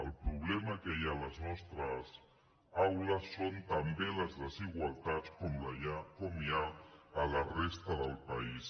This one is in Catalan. el problema que hi ha a les nostres aules són també les desigualtats com hi ha a la resta del país